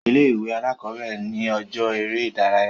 Ilé ìwé alákọ̀bẹ̀rẹ̀ ni ọjọ́ eré ìdárayá.